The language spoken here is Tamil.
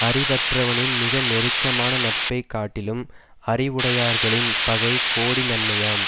அறிவற்றவனின் மிக நெருக்கமான நட்பை காட்டிலும் அறிவுடையார்களின் பகை கோடி நன்மையாம்